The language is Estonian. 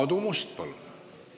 Aadu Must, palun!